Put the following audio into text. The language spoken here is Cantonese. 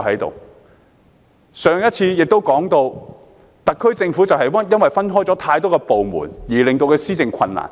我先前也提到，特區政府因為部門過多，令施政困難。